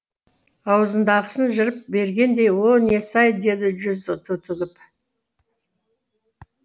аузындағысын жырып бергендей о несі ай деді жүзі түтігіп